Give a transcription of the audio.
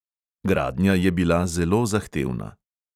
Gradnja je bila zelo zahtevna.